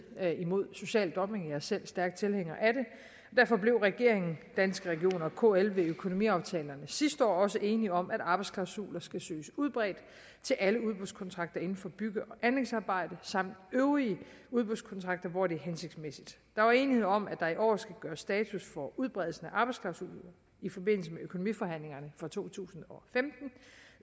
mod social dumping jeg er selv stærk tilhænger af det derfor blev regeringen danske regioner og kl ved indgåelse af økonomiaftalerne sidste år også enige om at arbejdsklausuler skal søges udbredt til alle udbudskontrakter inden for bygge og anlægsarbejde samt øvrige udbudskontrakter hvor det er hensigtsmæssigt der var enighed om at der i år skulle gøre status over udbredelsen af arbejdsklausuler i forbindelse med økonomiforhandlingerne for to tusind og femten